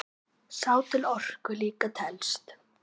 Sá til orku líka telst.